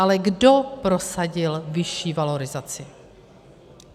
Ale kdo prosadil vyšší valorizaci?